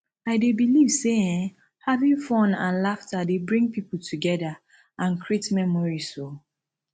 i dey believe say um having fun and laughter dey bring people together and create memories um